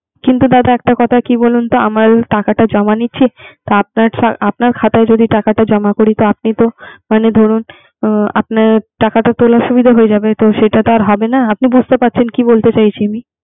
কিন্তু দাদা একটা কথা কি বলুন তো আমরা যে টাকাটা জমা দিয়েছি। আপনার খাতায় যদি টাকাটা জমা করি তা আপনি তো মানে ধরুন, আপনি তোলায় সুবিধা হয়ে যাবে। তো সেটা তো আর হবে না